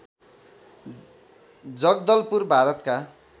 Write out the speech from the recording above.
जगदलपुर भारतका